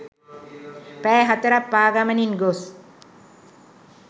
පැය 4 ක් පාගමනින් ගොස්